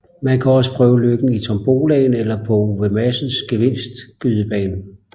Man kan også prøve lykken i tombolaen eller på Ove Madsens gevinst skydebane